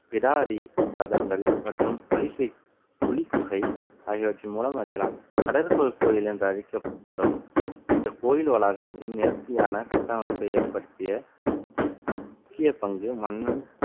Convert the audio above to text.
பிடாரி ரதங்கள் மற்றும் புலிகை~ புலிக்குகை ஆகியவற்றின் மூலம் அறியலாம். கடற்கரை கோயில் என்று அழைக்கப்படும் இந்த கோயில் வளாகத்தில் நேர்த்தியான கட்டமைப்பை ஏற்படுத்திய முக்கிய பங்கு மன்னன்